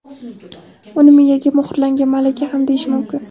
Uni miyaga muhrlangan malaka ham deyish mumkin.